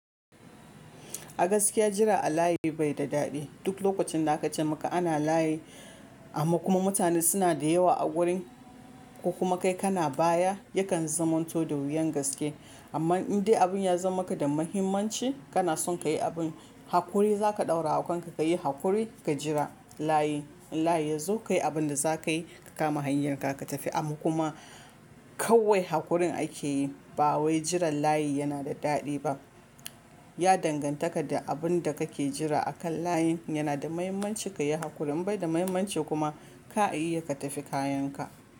Agaskiya jira a layi bai da daɗi. Duk lokacin da aka ce maka ana layi amma kuma mutane suna da yawa a wurin, ko kuma kai kana baya, yakan zamanto da wuyan gaske. Amma in dai abin ya zam maka da muhimmanci, kana son ka yi abin, haƙuri za ka ɗaura kanka ka yi haƙuri ka jira layi. In layi ya zo, ka yi abin da za ka yi, ka kama hanyarka ka tafi. Amma kuma kawai haƙurin ake yi ba wai jiran layi yana da daɗi ba. Ya danganta ka da abin da ka ke jira a kan layin. Yana da muhimmanci ka yi haƙuri, in bai da muhimmanci kuma ka iya ka tafi kayan ka.